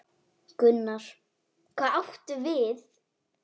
Gunnar: Hvað áttu við?